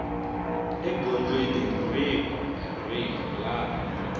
egondzweni rihi kumbe rihi laha